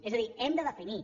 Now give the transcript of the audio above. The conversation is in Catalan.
és a dir hem de definir